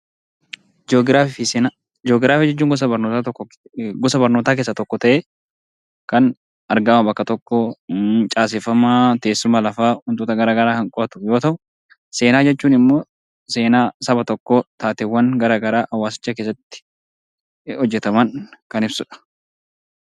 Ji'oogiraafii fi seenaa Ji'oogiraafii jechuun gosa barnootaa keessaa tokko ta'ee, kan argama bakka tokkoo, kan caaseffama teessuma lafaa kan qo'atu yoo ta'u, seenaa jechuun immoo seenaa saba tokkoo akkaataa hawaasicha keessatti hojjetaman kan ibsudha.